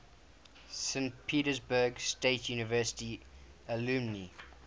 saint petersburg state university alumni